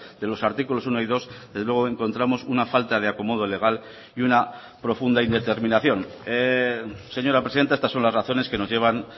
de los artículos uno y dos desde luego encontramos una falta de acomodo legal y una profunda indeterminación señora presidenta estas son las razones que nos llevan